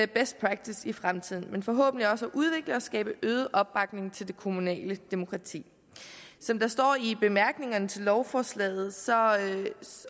best practice i fremtiden men forhåbentlig også kan udvikle og skabe øget opbakning til det kommunale demokrati som der står i bemærkningerne til lovforslaget